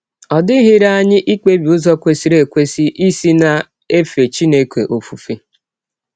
Ọ dịghịrị anyị ikpebi ụzọ kwesịrị ekwesị isi na - efe Chineke ọfụfe.